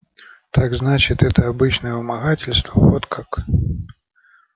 так значит это обычное вымогательство вот как